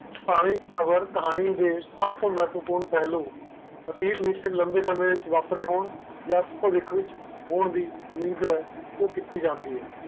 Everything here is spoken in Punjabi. ਵਰਕ ਕਹਾਣੀ ਦੇ ਸਬਤੋ ਮਹੱਤਵਪੂਰਨ ਪਹਿਲੂ ਅਤੀਤ ਵਿਚ ਲੰਬੇ ਸਮੇਂ ਵਿਚ ਵਾਪਰੇ ਹੋਣ ਜਾ ਪਾਰਿਖ ਵਿਚ ਹੋਣ ਦੀ ਨੀਵ ਕੀਤੀ ਜੰਤੀ ਹੈ